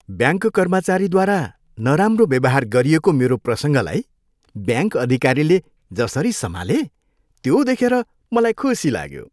Bank कर्मचारीद्वारा नराम्रो व्यवहार गरिएको मेरो प्रसङ्गलाई ब्याङ्क अधिकारीले जसरी सम्हाले त्यो देखेर मलाई खुसी लाग्यो।